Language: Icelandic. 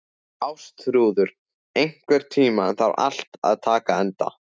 Ástþrúður, einhvern tímann þarf allt að taka enda.